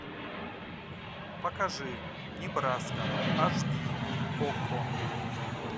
покажи небраска аш ди окко